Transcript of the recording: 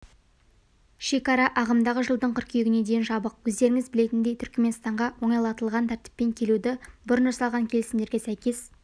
шекара ағымдағы жылдың қыркүйегіне дейін жабық өздеріңіз білетіндей түрікменстанға оңайлатылған тәртіппен келуді бұрын жасалған келісімдерге сәйкес